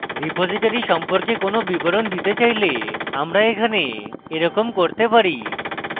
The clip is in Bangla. repository সম্পর্কে কোনো বিবরণ দিতে চাইলে আমরা এখানে এরকম করতে পারি